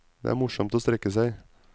Det er morsomt å strekke seg.